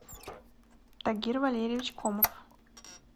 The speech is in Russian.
тагир валерьевич комов